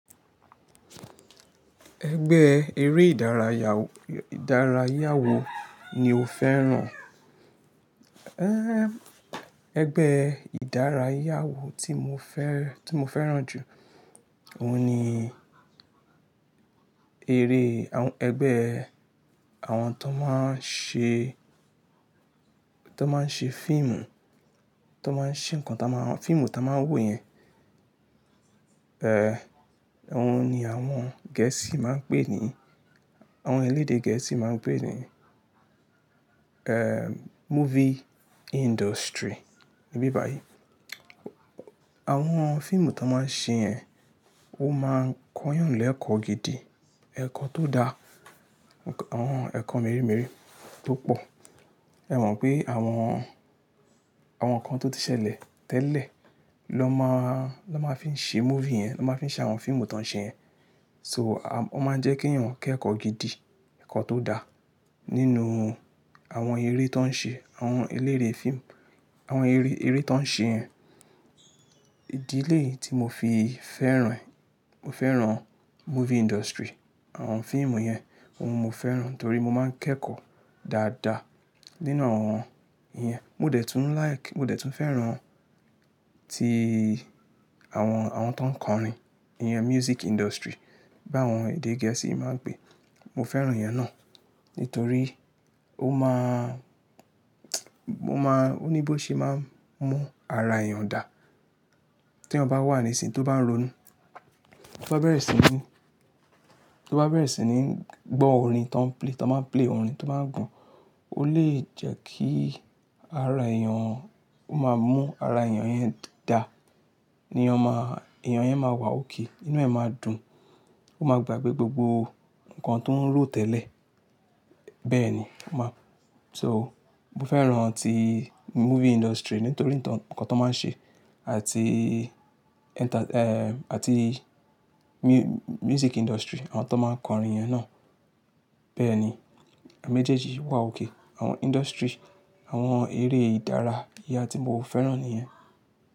Ẹgbẹ́ eré ìdárayá, ìdárayá wo ni o fẹ́ràn? Ẹgbẹ́ ìdárayá wo tí mo fẹ́, tí mo fẹ́ràn jù, òun ni eré, àwọn, ẹgbẹ́ àwọn tó máa ń ṣe, tó máa ń ṣe fíìmù, tó máa ń ṣe ǹkan tó máa, fíìmù tó máa ń wò yẹn. Òun ni àwọn Gẹ̀ẹ́sì máa ń pè ní, àwọn elédè Gẹ̀ẹ́sì máa ń pè ní movie industry níbí báyìí. Àwọn fíìmù tó máa ń ṣe yẹn, ó máa ń kọ́ yàn lẹ́kọ̀ọ́ gidi, ẹ̀kọ́ tó da, àwọn ẹ̀kọ́ mèremère tó pò. Ẹ̀ mọ̀ pé àwọn, àwọn ǹkan tó ti ṣẹlẹ̀ tẹ́lẹ̀ ló máa, ló máa fi ń ṣe movie yẹn, ló máa fi ṣe àwọn fíìmù tó ń ṣe yẹn. So a-- ó máa ń jẹ́ kí yàn kẹ́kọ̀ọ́ gidi, ẹ̀kọ́ tó da nínú àwọn eré tó ń ṣe, àwọn eléré fíìmù, àwọn eré, eré tó ń ṣe yẹn. Ìdílé tí mo fi fẹ́ràn, mo fẹ́ràn movie industry, àwọn fíìmù yẹn, òun mo fẹ́ràn torí mo máa ń kẹ́kọ̀ọ́ dáadáa nínú àwọn iyẹn. Mo dẹ̀ tún like, mo dẹ̀ tún fẹ́ràn ti àwọn, àwọn tó ń kọrin, iyan music industry bá àwọn èdè Gẹ̀ẹ́sì máa ń pè. Mo fẹ́ràn ìyẹn náà nitorí ó máa mo máa, ó ní bó ṣe máa ń mú ara èèyàn dà. Te eeyan bá wà ní ìsìn tó bá ń ronú, tó bá bẹ̀rẹ̀ sí ní, tó bá bẹ̀rẹ̀ sí ní gbọ́ orin tó ń play, tó máa ń play, orin tó máa ń gùn, ó lè jẹ́ kí ara èèyàn, ó máa mú ara èèyàn yẹn dà. Eeyan ọ má, èèyàn yẹn máa wà ók, inú ẹ̀ máa dùn. Ó máa gbà gbogbo ǹkan tó ń ro tẹ́lẹ̀. Bẹ́ẹ̀ ni, ó máa-- so mo fẹ́ràn ti movie industry nítorí ǹkan tó máa ń ṣe àti enter-- àti mu-music industry àwọn tó máa ń kọrin yẹn náà. Bẹ́ẹ̀ ni, àméjèjì wà ók. Àwọn industry, àwọn eré ìdárayá tí mo fẹ́ràn ni ìyẹn.